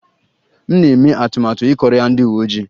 M na-eme atụmatụ ịkọrọ ya ndị uwe ojii